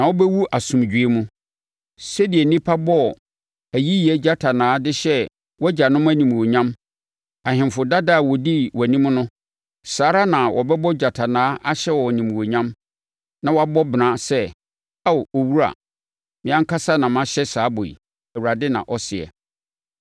na wobɛwu asomdwoeɛ mu. Sɛdeɛ nnipa bɔɔ ayiyɛ gyatanaa de hyɛɛ wʼagyanom animuonyam, ahemfo dada a wɔdii wʼanim no, saa ara na wɔbɛbɔ gyatanaa ahyɛ wo animuonyam na wɔabɔ bena sɛ, “Ao owura!” Me ankasa na mehyɛ saa bɔ yi, Awurade na ɔseɛ.’ ”